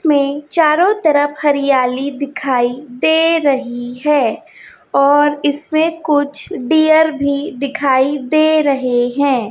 में चारों तरफ हरियाली दिखाई दे रही है और इसमें कुछ डियर भी दिखाई दे रहे हैं।